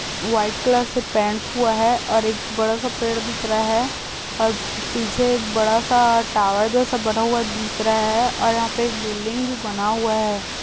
White colour से paint हुआ हैं और एक बड़ा-सा पेड़ दिख रहा हैं और पीछे एक बड़ा-सा टावर जैसा बना हुआ दिख रहा हैं और यहाँ पे एक बिल्डिंग भी बना हुआ हैं।